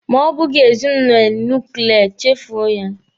Ma ọ bụghị ezinụlọ nuklia, chefuo ya.